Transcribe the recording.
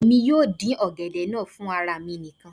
èmi yóò dín ọ̀gẹ̀dẹ̀ náà fún ara mi nìkan